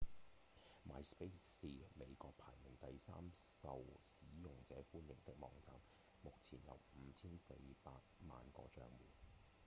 myspace 是美國排名第三受使用者歡迎的網站目前有5千4百萬個帳戶